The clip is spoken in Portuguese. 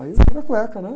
Aí eu tiro a cueca, né?